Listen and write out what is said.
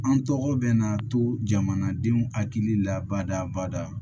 An tɔgɔ bɛ na to jamanadenw hakili la bada bada